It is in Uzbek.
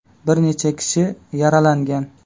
Bir necha kishi yaralangan.